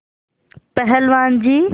पहलवान जी